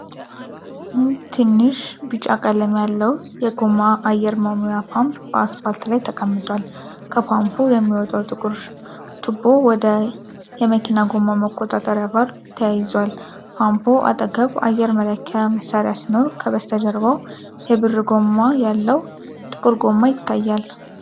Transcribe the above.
ንድ ትንሽ ቢጫ ቀለም ያለው የጎማ አየር መሙያ ፓምፕ በአስፋልት ላይ ተቀምጧል። ከፓምፑ የሚወጣው ጥቁር ቱቦ ወደ የመኪና ጎማ መቆጣጠሪያ ቫልቭ ተያይዟል። ፓምፑ አጠገብ አየር መለኪያ መሣሪያ ሲኖር፣ ከበስተጀርባው የብር ጎማ ያለው ጥቁር ጎማ ይታያል።